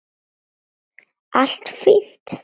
Allt fínt.